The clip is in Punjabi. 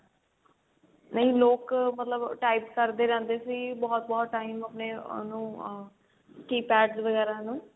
ਨਹੀ ਲੋਕ ਮਤਲਬ type ਕਰਦੇ ਰਹਿੰਦੇ ਸੀ ਬਹੁਤ ਬਹੁਤ time ਉਹਨੂੰ ਅਮ keypad ਵਗੇਰਾ ਨੂੰ